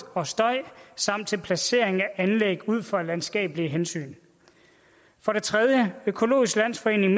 og støj samt placering af anlæg ud fra landskabelige hensyn for det tredje økologisk landsforening